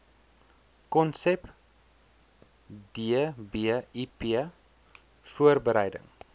konsep dbip voorbereiding